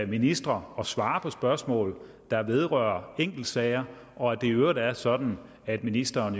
ministre at svare på spørgsmål der vedrører enkeltsager og at det i øvrigt er sådan at ministeren